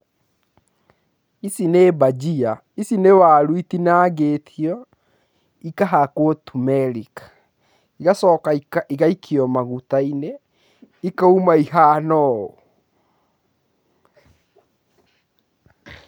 Ici nĩ mbajia. Ici nĩ waru itinangĩtio igacoka ikahakwo tumerĩki. Igacoka igaikio maguta-inĩ ikauma ihana ũũ.